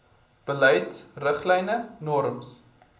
beleid riglyne norms